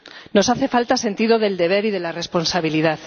Nos hace falta sentido del deber y de la responsabilidad.